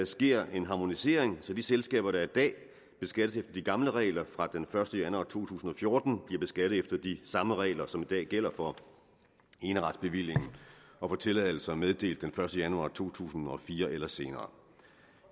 sker en harmonisering så de selskaber der i dag beskattes efter de gamle regler fra den første januar to tusind og fjorten bliver beskattet efter de samme regler som i dag gælder for eneretsbevillingen og for tilladelser meddelt den første januar to tusind og fire eller senere